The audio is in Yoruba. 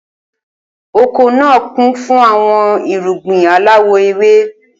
Oko naa kun fun awọn irugbin alawọ ewe.